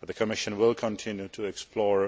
and the Commission will continue to explore